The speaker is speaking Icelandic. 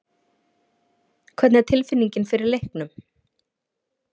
Hvernig er tilfinningin fyrir leiknum?